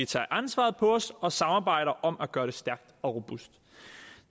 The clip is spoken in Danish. tager ansvaret på os og samarbejder om at gøre det stærkt og robust